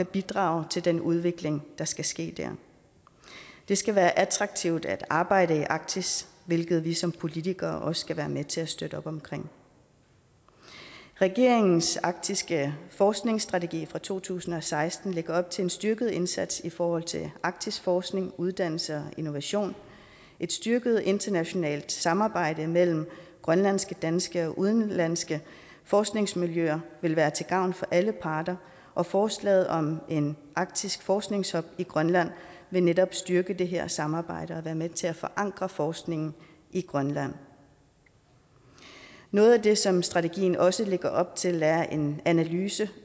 bidrage til den udvikling der skal ske der det skal være attraktivt at arbejde i arktis hvilket vi som politikere også skal være med til at støtte op om regeringens arktiske forskningsstrategi for to tusind og seksten lægger op til en styrket indsats i forhold til arktisk forskning uddannelse og innovation et styrket internationalt samarbejde mellem grønlandske danske og udenlandske forskningsmiljøer vil være til gavn for alle parter og forslaget om en arktisk forskningshub i grønland vil netop styrke det her samarbejde og være med til at forankre forskningen i grønland noget af det som strategien også lægger op til er en analyse